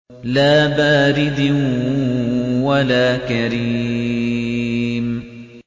لَّا بَارِدٍ وَلَا كَرِيمٍ